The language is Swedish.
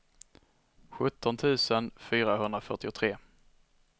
sjutton tusen fyrahundrafyrtiotre